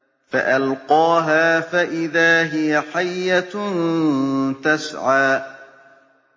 فَأَلْقَاهَا فَإِذَا هِيَ حَيَّةٌ تَسْعَىٰ